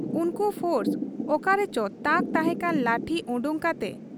ᱩᱱᱠᱩ ᱯᱷᱚᱨᱥ ᱚᱠᱟᱨᱮᱪᱚ ᱛᱟᱠ ᱛᱟᱦᱮᱸᱠᱟᱱ ᱞᱟᱴᱷᱤ ᱚᱰᱚᱠ ᱠᱟᱛᱮ ᱾